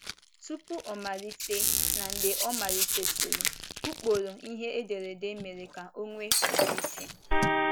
Tupu ọ malite na mgbe ọ malitesịrị, Ụkpụrụ ihe ederede mere ka enwee ọdịiche.